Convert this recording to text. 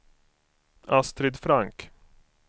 Astrid Frank